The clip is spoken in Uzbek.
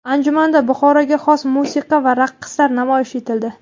Anjumanda Buxoroga xos musiqa va raqslar namoyish etildi.